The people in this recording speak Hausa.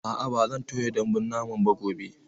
A'a, ba zan toya dambun naman ba gobe.